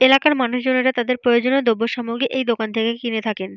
এলাকার মানুষজনেরা তাদের প্রয়োজনের দ্রব্যসামগ্রী এই দোকান থেকে কিনে থাকেন।